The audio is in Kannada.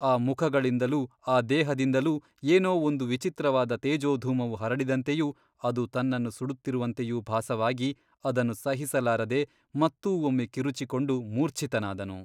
ಆ ಮುಖಗಳಿಂದಲೂ ಆ ದೇಹದಿಂದಲೂ ಏನೋ ಒಂದು ವಿಚಿತ್ರವಾದ ತೇಜೋಧೂಮವು ಹರಡಿದಂತೆಯೂ ಅದು ತನ್ನನ್ನು ಸುಡುತ್ತಿರುವಂತೆಯೂ ಭಾಸವಾಗಿ ಅದನ್ನು ಸಹಿಸಲಾರದೆ ಮತ್ತೂ ಒಮ್ಮೆ ಕಿರುಚಿಕೊಂಡು ಮೂರ್ಛಿತನಾದನು.